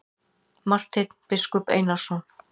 Marteinn biskup Einarsson.